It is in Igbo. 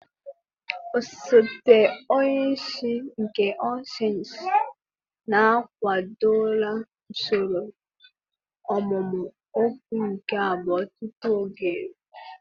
Osote onye isi nke All sensii na-akwadola usoro ọmụmụ okwu nke abụọ tupu oge eruo.